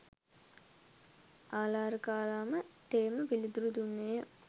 ආළාරකාලාම තෙමේ පිළිතුරු දුන්නේ ය.